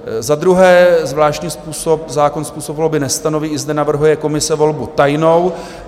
Za druhé, zvláštní zákon způsob volby nestanoví, i zde navrhuje komise volbu tajnou.